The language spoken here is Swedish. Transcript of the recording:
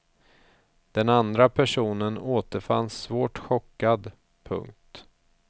Den andra personen återfanns svårt chockad. punkt